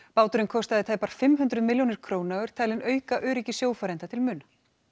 báturinn kostaði tæpar fimm hundruð milljónir króna og er talinn auka öryggi sjófarenda til muna